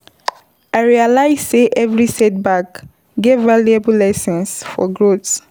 I realize sey every setback get valuable lesson for growth.